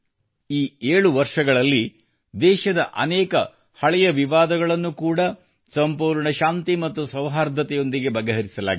ಈ 7 ವರ್ಷಗಳಲ್ಲಿ ದೇಶದ ಅನೇಕ ಹಳೆಯ ವಿವಾದಗಳನ್ನು ಕೂಡಾ ಸಂಪೂರ್ಣ ಶಾಂತಿ ಮತ್ತು ಸೌಹಾರ್ದದೊಂದಿಗೆ ಬಗೆಹರಿಸಲಾಗಿದೆ